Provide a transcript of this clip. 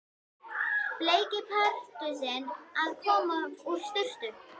Bleiki Pardusinn að koma úr sturtu!